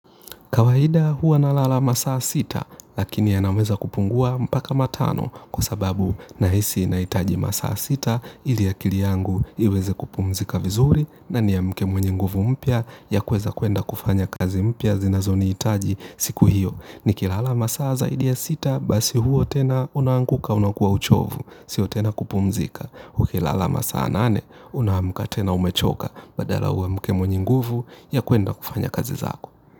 Kawaida huwa na lala masaa sita, lakini ya naweza kupungua mpaka matano kwa sababu na hisi na itaji masaa sita, ili akili yangu iweze kupumzika vizuri na ni ya mke mwenye nguvu mpya ya kuweza kwenda kufanya kazi mpya zinazoni hitaji siku hiyo. Ni kilala masaa zaidi ya sita, basi huo tena unanguka unakuwa uchovu, sio tena kupumzika. Uki lala masa anane, unaamka tena umechoka badala uamke mwenye nguvu ya kuenda kufanya kazi zako.